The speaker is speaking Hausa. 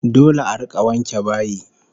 Dole a rika wanke bayi